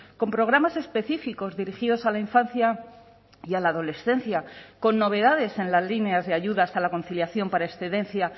con programas específicos dirigidos a la infancia y a la adolescencia con novedades en las líneas de ayudas a la conciliación para excedencia